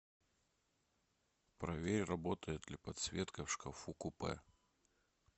проверь работает ли подсветка в шкафу купе